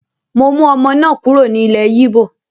Mo mú ọmọ náà kúrò ní ilẹ́ Yíbò